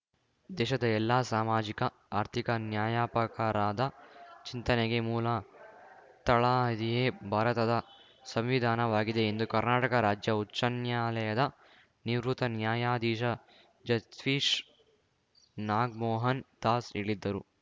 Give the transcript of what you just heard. ದೇಶದ ಎಲ್ಲಾ ಸಾಮಾಜಿಕ ಆರ್ಥಿಕ ನ್ಯಾಯಪಕರದ ಚಿಂತನೆಗೆ ಮೂಲ ತಳಹದಿಯೇ ಭಾರತದ ಸಂವಿಧಾನವಾಗಿದೆ ಎಂದು ಕರ್ನಾಟಕ ರಾಜ್ಯ ಉಚ್ಛನ್ಯಾಲಯದ ನಿವೃತ್ತ ನ್ಯಾಯಾದೀಶ ಜಸ್ಟೀಸ್‌ ನಾಗ್‌ಮೋಹನ್ ದಾಸ್‌ ಹೇಳಿದ್ದರು